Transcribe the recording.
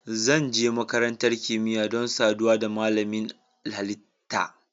Zan je makarantar kimiyya don saduwa da malamin ilimin halitta.